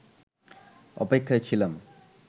অপেক্ষায় ছিলাম